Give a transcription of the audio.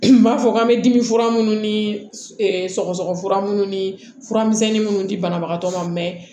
N b'a fɔ k'an bɛ dimi fura minnu ni sɔgɔsɔgɔ fura minnu ni furamisɛnni minnu di banabagatɔ ma